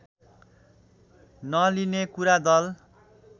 नलिने कुरा दल